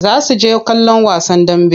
Za su je kallon wasan dambe.